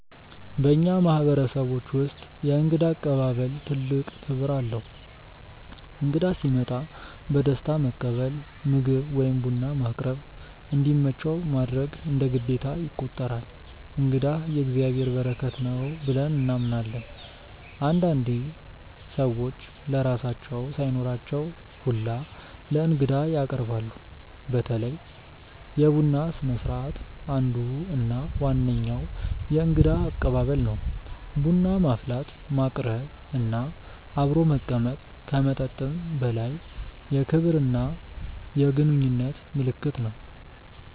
በእኛ ማህበረሰቦች ውስጥ የእንግዳ አቀባበል ትልቅ ክብር አለው። እንግዳ ሲመጣ በደስታ መቀበል፣ ምግብ ወይም ቡና ማቅረብ፣ እንዲመቸው ማድረግ እንደ ግዴታ ይቆጠራል። “እንግዳ የእግዚአብሔር በረከት ነው” ብለን እናምናለን። አንዳንዴ ሰዎች ለራሳቸው ሳይኖራቸው ሁላ ለእንግዳ ያቀርባሉ። በተለይ የቡና ስነስርዓት አንዱ እና ዋነኛው የእንግዳ አቀባበል ነው። ቡና ማፍላት፣ ማቅረብ እና አብሮ መቀመጥ ከመጠጥም በላይ የክብርና የግንኙነት ምልክት ነው።